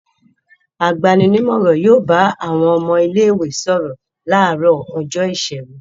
Agbani-nímọ̀ràn yóò bá àwọn ọmọ ilé-ìwé sọ̀rọ̀ láàárọ̀ ọjọ́ ìṣẹ́gun.